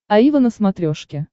аива на смотрешке